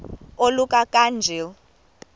oluka ka njl